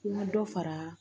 N ka dɔ fara